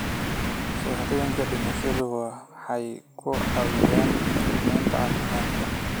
Shahaadooyinka dhimashadu waxay ku caawinayaan qiimaynta caafimaadka.